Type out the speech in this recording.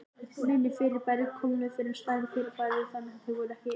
Minni fyrirbæri kólnuðu fyrr en stærri fyrirbæri, þannig að þau voru ekki eins lagskipt.